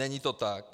Není to tak.